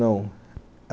Não.